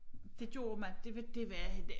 Det gjorde man det var det var